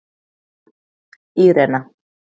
Írena